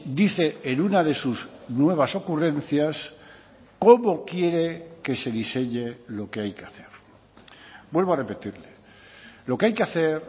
dice en una de sus nuevas ocurrencias cómo quiere que se diseñe lo que hay que hacer vuelvo a repetirle lo que hay que hacer